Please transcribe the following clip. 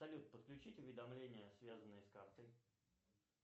салют подключить уведомления связанные с картой